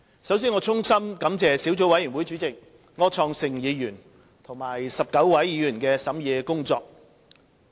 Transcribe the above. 首先，我衷心感謝小組委員會主席柯創盛議員和19位議員的審議工作。